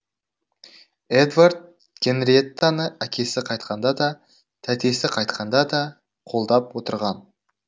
эдвард генриеттаны әкесі қайтқанда да тәтесі қайтқанда да қолдап отырған